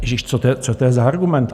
Ježíš, co to je za argument?